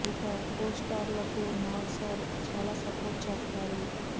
ఇక costar లకు Nag sir చాలా సపోర్ట్ చేస్తారు